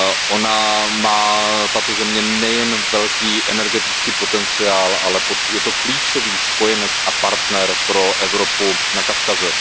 Ona má tato země nejen velký energetický potenciál, ale je to klíčový spojenec a partner pro Evropu na Kavkaze.